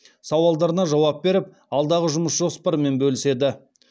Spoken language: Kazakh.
сауалдарына жауап беріп алдағы жұмыс жоспарымен бөліседі